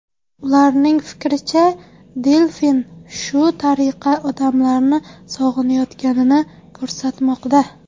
Ularning fikricha, delfin shu tariqa odamlarni sog‘inayotganini ko‘rsatmoqda.